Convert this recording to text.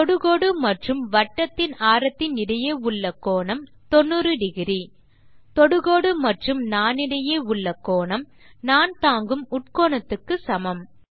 தொடுகோடு மற்றும் வட்டத்தின் ஆரத்தின் இடையே உள்ள கோணம் 900 தொடுகோடு மற்றும் நாணிடையே உள்ள கோணம் நாண் தாங்கும் உட்கோணத்துக்கு சமம்